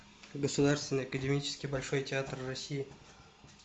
государственный академический большой театр россии